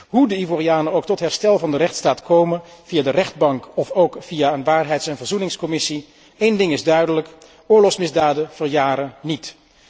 Hoe de Ivorianen ook tot herstel van de rechtsstaat komen, via de rechtbank of ook via een waarheids en verzoeningscommissie, één ding is duidelijk oorlogsmisdaden verjaren niet.